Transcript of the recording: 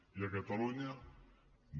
i a catalunya no